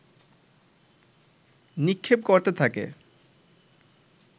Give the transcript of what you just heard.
নিক্ষেপ করতে থাকে